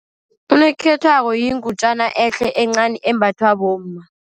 Unokhethwako yingutjana ehle, encani, embathwa bomma.